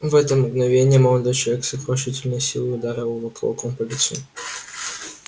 в это мгновение молодой человек с сокрушительной силой ударил его кулаком по лицу